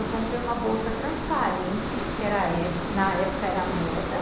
Eu comprei uma bolsa transparente, que era, que na época era moda.